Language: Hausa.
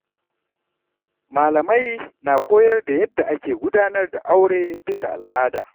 Malamai na koyar da yadda ake gudanar da aure bisa al’ada.